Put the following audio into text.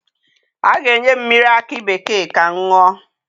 A ga-enye m mmiri akị bekee ka m ṅụọ.